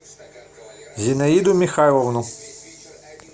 зинаиду михайловну